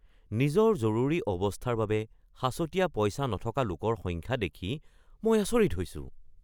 নিজৰ জৰুৰী অৱস্থাৰ বাবে সাঁচতীয়া পইচা নথকা লোকৰ সংখ্যা দেখি মই আচৰিত হৈছো।